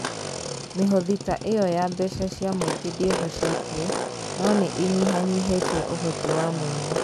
Mĩhothi ta ĩyo ya mbeca cia mũingĩ ndĩhocetie, no nĩ ĩnyihanyihĩtie ũhoti wa mwene.